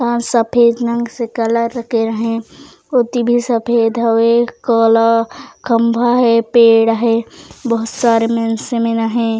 तार सफ़ेद रंग से कलर करे हे ओती भी सफ़ेद हवे कला खम्भा हे पेड़ हे बहुत सारा मेंस मन हे।